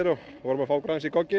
vorum að fá okkur aðeins í gogginn